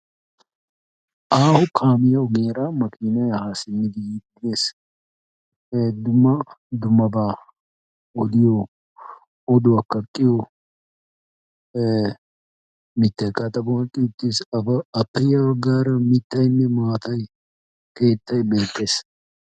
Aaho kaamiya ogiyaara maakinay ha simmidi yiidi des. Dumma dummaba odiyo oduwa kaaqqiyo mittaykka a xaphphon eqqi uttios. Appe ya baggaara mittaynne maatay keettay beettees.